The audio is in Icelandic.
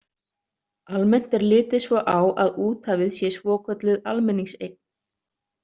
Almennt er litið svo á að úthafið sé svokölluð almenningseign.